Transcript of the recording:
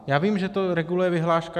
Já vím, že to reguluje vyhláška.